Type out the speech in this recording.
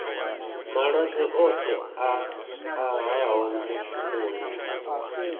malwadze oṱhe a ṱahaho mushumoni